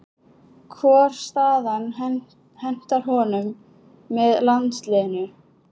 Hvor staðan hentar honum betur með landsliðinu?